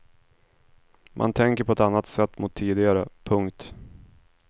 Man tänker på ett annat sätt mot tidigare. punkt